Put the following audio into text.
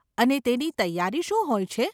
અને તેની તૈયારી શું હોય છે?